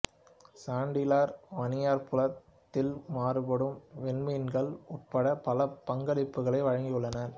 chandelier வானியற்புலத்தில் மாறுபடும் விண்மீன்கள் உட்பட பல பங்களிப்புகளை வழங்கியுள்ளார்